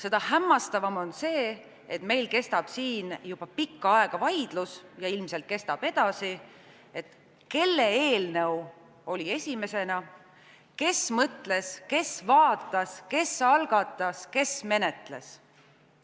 Seda hämmastavam on see, et meil kestab siin juba pikka aega vaidlus ja ilmselt kestab edasi, et kelle eelnõu oli esimene, kes mõtles, kes vaatas, kes algatas, kes menetles.